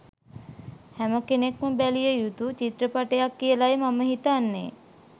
හැමකෙන්ක්ම බැලිය යුතු චිත්‍රපටයක් කියලයි මම හිතන්නෙ.